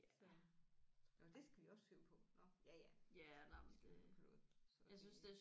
Så nåh det skal vi også have høre på nåh ja ja altså vi skal jo høre på noget så det